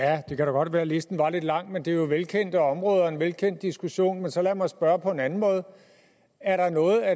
godt være at listen var lidt lang men det er jo velkendte områder og en velkendt diskussion men så lad mig spørge på en anden måde er der noget af